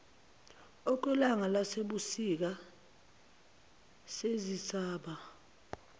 okwelanga lasebusika sezisaba